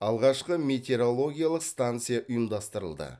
алғашқы метеорологиялық станция ұйымдастырылды